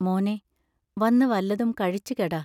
മോനേ, വന്നു വല്ലതും കഴിച്ചു കെട.